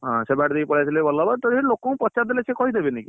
ହଁ, ସେ ବାଟ ଦେଇକି ପଳେଇଆସିଲେ ଭଲ ହବ ଲୋକ ଙ୍କୁ ପଚାରି ଦେଲେ ସେ କହିଦେବେନି କି।